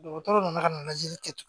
Dɔgɔtɔrɔ nana ka na lajɛli kɛ tugun